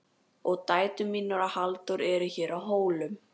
Og dætur mínar og Halldóra eru hér á Hólum.